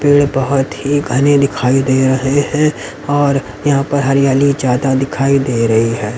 पेड़ बहुत ही घने दिखाई दे रहे हैं और यहां पर हरियाली ज्यादा दिखाई दे रही है।